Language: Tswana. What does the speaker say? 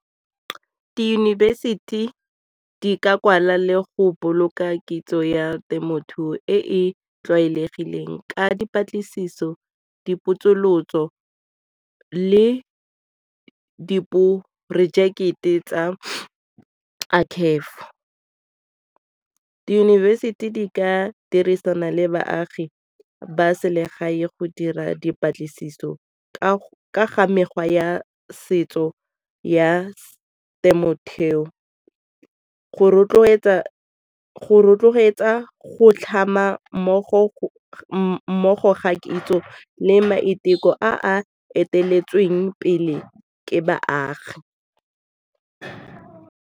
Diyunibesithi di ka kwala le go boloka kitso ya temothuo e e tlwaelegileng ka dipatlisiso, dipotsolotso le diporojeke tsa . Di-university di ka dirisana le baagi ba selegae go dira dipatlisiso ka ga mekgwa ya setso ya go rotloetsa go rotloetsa go tlhama mmogo ga kitso le maiteko a a eteletseng pele ke baagi.